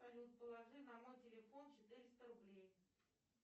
салют положи на мой телефон четыреста рублей